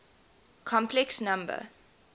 complex number